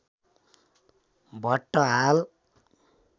भट्ट हाल